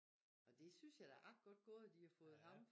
Og det synes jeg det er da ret godt gået at de har fået ham